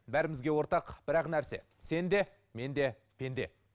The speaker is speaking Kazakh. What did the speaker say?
бәрімізге ортақ бірақ ақ нәрсе сен де мен де пенде